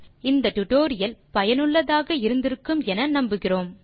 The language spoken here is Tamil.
இந்த டியூட்டோரியல் ஐ ரசித்திருப்பீர்கள் பயனுள்ளதாக இருக்கும் என்று நினைக்கிறோம்